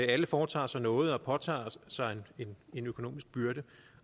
alle foretager sig noget og påtager sig en økonomisk byrde